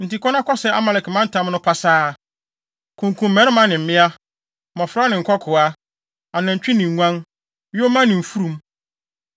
Enti kɔ na kɔsɛe Amalek mantam no pasaa. Kunkum mmarima ne mmea, mmofra ne nkokoaa, anantwi ne nguan, yoma ne mfurum.’ ”